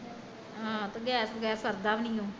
ਆਹ ਤੇ ਗੈਸ ਬਗੈਰ ਸਰਦ ਵੀ ਨੀ ਓ